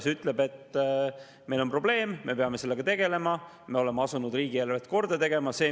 See ütleb, et meil on probleem, me peame sellega tegelema ja me oleme asunud riigieelarvet korda tegema.